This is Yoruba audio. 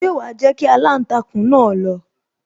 Ṣé wa jẹ́ kí aláǹtakùn náà lọ